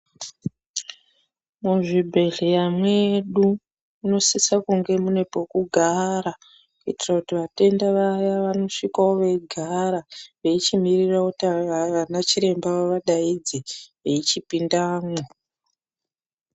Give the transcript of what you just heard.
Muzvibhedhleya mwedu munosise kunge mune pekugara kuitira kuti vatenda vaya vanosvikawo veigara veichimirira kuti vana chiremba vavadaidze veichipindamwo.